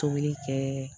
Tobili kɛ